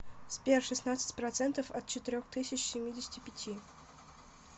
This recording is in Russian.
сбер шестнадцать процентов от четырех тысяч семидесяти пяти